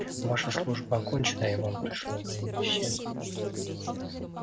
ваша служба окончена и вам пришло время исчезнуть